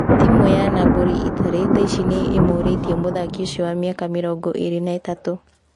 Timu ya Nabori Itarĩ, thaici nĩ ĩmũrĩtie mũthaki ũcio wa mĩaka mĩrongo ĩrĩ na ĩtatu.